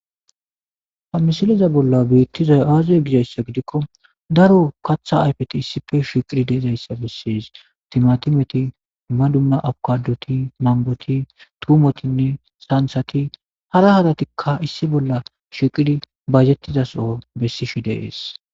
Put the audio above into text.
Ha misiliza bolla biittizay aazuye gizayssa gidikko daro katha ayfeti issife shiqiri deezayssa bessis timatimeti ma dumma awukaduti mangoti tuumotinne saansati hara hadatikka issi bolla shiqidi bajettiza soo bessishi deees.